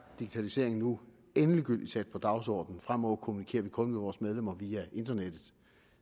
digitalisering nu endegyldigt sat på dagsordenen fremover kommunikerer vi kun med vores medlemmer via internettet